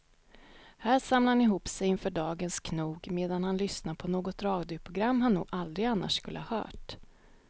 Här samlar han ihop sig inför dagens knog medan han lyssnar på något radioprogram han nog aldrig annars skulle ha hört.